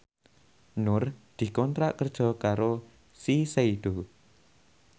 Nur dikontrak kerja karo Shiseido